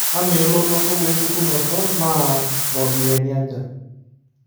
Amaa elototo wo enchukunoto naa ropiyani aja?